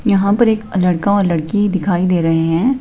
यहां पर एक लड़का और लड़की दिखाई दे रहे हैं।